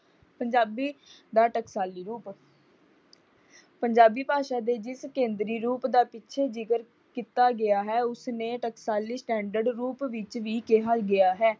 ਪੰਜਾਬੀ ਦਾ ਟਕਸਾਲੀ ਰੂਪ ਪੰਜਾਬੀ ਭਾਸ਼ਾ ਦੇ ਜਿਸ ਕੇਂਦਰੀ ਰੂਪ ਦਾ ਪਿੱਛੇ ਜਿਕਰ ਕੀਤਾ ਗਿਆ ਹੈ ਉਸਨੇ ਟਕਸਾਲੀ ਸਟੈਂਰਡ ਰੂਪ ਵਿੱਚ ਵੀ ਕਿਹਾ ਗਿਆ ਹੈ।